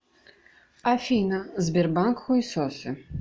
афина сбербанк хуесосы